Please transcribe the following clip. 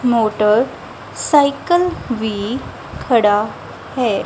Motor cycle ਵੀ ਖੜਾ ਹੈ।